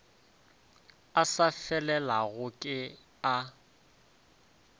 a sa felelago ke a